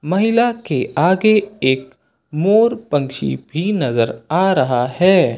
महिला के आगे एक मोर पंछी भी नजर आ रहा है।